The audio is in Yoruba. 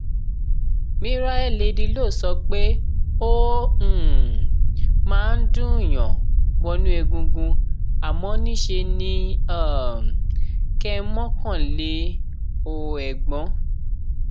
miraelleladylow sọ pé ó um máa ń dùnúnyàn wọnú egungun àmọ níṣe ni um kẹ ẹ mọkàn le o ẹgbọn